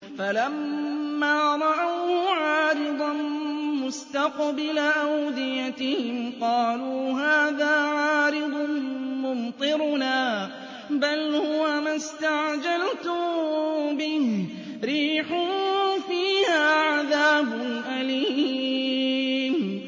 فَلَمَّا رَأَوْهُ عَارِضًا مُّسْتَقْبِلَ أَوْدِيَتِهِمْ قَالُوا هَٰذَا عَارِضٌ مُّمْطِرُنَا ۚ بَلْ هُوَ مَا اسْتَعْجَلْتُم بِهِ ۖ رِيحٌ فِيهَا عَذَابٌ أَلِيمٌ